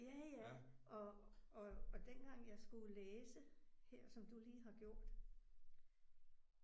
Ja ja og og og dengang jeg skulle læse her som du lige har gjort